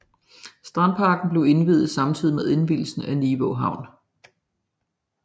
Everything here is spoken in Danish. Strandparken blev indviet samtidig med indvielsen af Nivå Havn